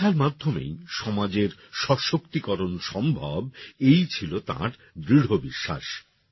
শিক্ষার মাধ্যমেই সমাজের সশক্তিকরণ সম্ভব এই ছিল তাঁর দৃঢ় বিশ্বাস